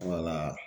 Wala